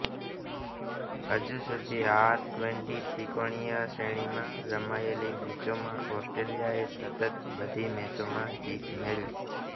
હજુ સુધી આ ટ્વેન્ટી ત્રિકોણીય શ્રેણીમાં રમાયેલી મેચોમાં ઓસ્ટ્રેલિયાએ સતત બધી મેચોમાં જીત મેળવી